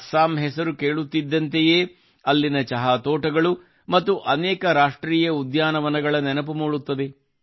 ಅಸ್ಸಾಂ ಹೆಸರು ಕೇಳುತ್ತಿದ್ದಂತೆಯೇ ಅಲ್ಲಿನ ಚಹಾ ತೋಟಗಳು ಮತ್ತು ಅನೇಕ ರಾಷ್ಟ್ರೀಯ ಉದ್ಯಾನವನಗಳ ನೆನಪು ಮೂಡುತ್ತದೆ